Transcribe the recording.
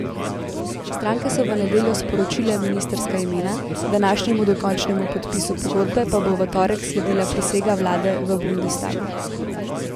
Stranke so v nedeljo sporočile ministrska imena, današnjemu dokončnemu podpisu pogodbe pa bo v torek sledila prisega vlade v bundestagu.